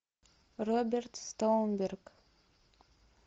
роберт стоунберг